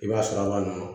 I b'a sɔrɔ a b'a nɔ